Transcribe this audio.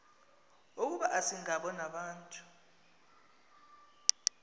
ukuba asingabo nabantu